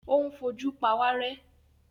Ó ń fojú pawárẹ́.